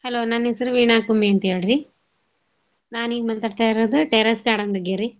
Hello ನನ್ ಹೆಸರ್ ವೀಣಾ ಕುಮ್ಮಿ ಅಂತೇಳ್ರೀ. ನಾನೀಗ್ ಮಾತಾಡ್ತಾ ಇರೋದು terrace garden ಬಗ್ಗೇರಿ.